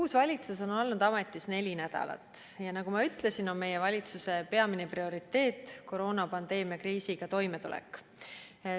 Uus valitsus on olnud ametis neli nädalat ja nagu ma ütlesin, on valitsuse peamine prioriteet kooronapandeemia kriisiga toimetulek.